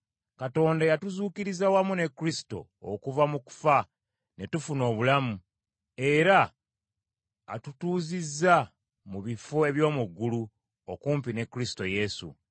Katonda yatuzuukiriza wamu ne Kristo okuva mu kufa ne tufuna obulamu, era atutuuzizza mu bifo eby’omu ggulu, okumpi ne Kristo Yesu.